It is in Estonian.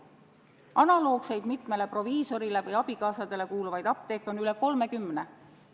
Analoogseid mitmele proviisorile või abikaasadele kuuluvaid apteeke on üle 30.